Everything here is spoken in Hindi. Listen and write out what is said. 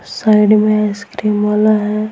साइड में आइसक्रीम वाला है।